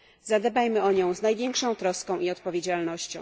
Zadbajmy o nią z największą troską i odpowiedzialnością!